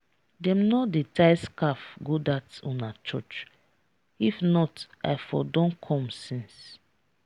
dem no dey tie scarf go dat una church if not i for don come since.